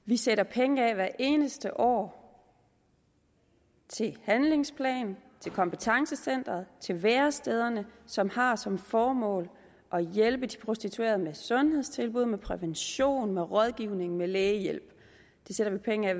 vi sætter penge af hvert eneste år til handlingsplaner til kompetencecenter og til værestederne som har som formål at hjælpe de prostituerede med sundhedstilbud med prævention med rådgivning og med lægehjælp det sætter vi penge af